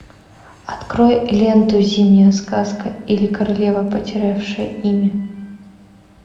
открой ленту зимняя сказка или королева потерявшая имя